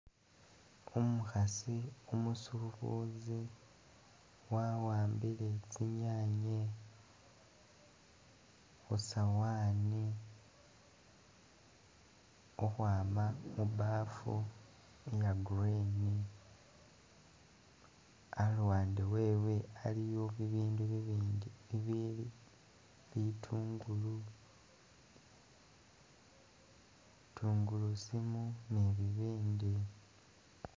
Umukhasi umusubuzi wawambile tsi'nyanye khu sawani khukhwama mu bafu iya green, aluwande wewe aliwo bibindu bibindi bili bitungulu, tungulusimu ni bibindi